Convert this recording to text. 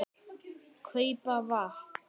. kaupa vatn.